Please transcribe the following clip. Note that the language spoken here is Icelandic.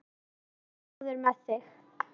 Góður með þig.